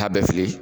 Taa bɛ fili